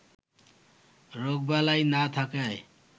রোগবালাই না থাকায়